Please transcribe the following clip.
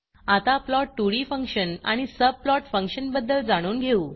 आता plot2डी फंक्शन आणि subplotसबप्लॉट फंक्शन बद्दल जाणून घेऊ